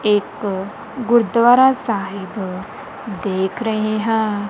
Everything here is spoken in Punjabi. ਇੱਕ ਗੁਰੂਦਵਾਰਾ ਸਾਹਿਬ ਦੇਖ ਰਹੇ ਹਾਂ।